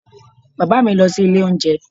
Bàbá mi lọ sí ilé oúnjẹ